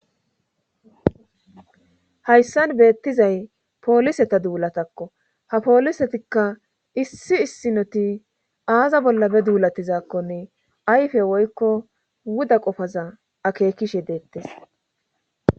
hayssan beettizay pooliseta duulatakko ha poolisetikka issi issinoti aaza bolla be duulatizaakkonne ayfe woykko wuda qofaza akeekishe deettes